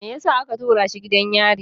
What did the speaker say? Me yasa aka tura shi gidan yari?